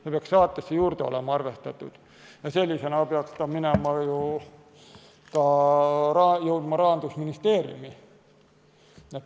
See peaks saatele olema juurde arvestatud ja sellisena peaks see jõudma ka Rahandusministeeriumi.